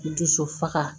N dusu faga